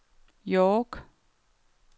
York